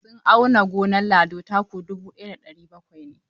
Sun auna gonar Lado, taku dubu ɗaya da ɗari bakwai ne.